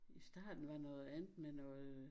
I starten var noget andet med noget